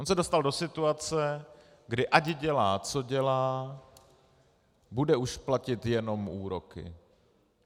On se dostal do situace, kdy ať dělá, co dělá, bude už platit jenom úroky.